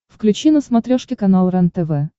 включи на смотрешке канал рентв